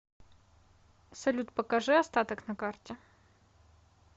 салют покажи остаток на карте